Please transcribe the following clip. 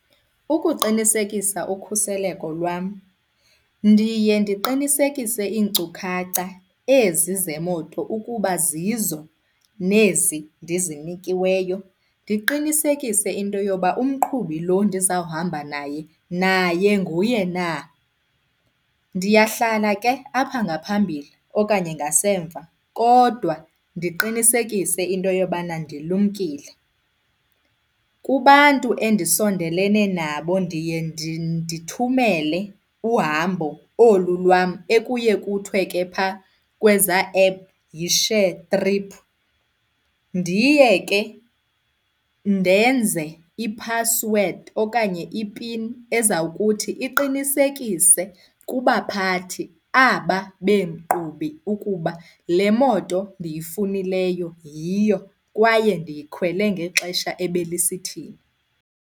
Ukuqinisekisa ukhuseleko lwam ndiye ndiqinisekise iinkcukacha ezi zemoto ukuba zizo nezi ndizinikiweyo. Ndiqinisekise into yoba umqhubi lo ndizawuhamba naye, naye nguye na. Ndiyahlala ke apha ngaphambili okanye ngasemva kodwa ndiqinisekise into yobana ndilumkile. Kubantu endisondelelene nabo ndiye ndithumele uhambo olu lwam ekuye kuthiwe ke pha kweza app yi-shared trip. Ndiye ke ndenze i-password okanye ipini ezawukuthi iqinisekise kubaphathi aba beenkqubi ukuba le moto ndiyifunileyo yiyo kwaye ndiyikhwele ngexesha ebelisithini.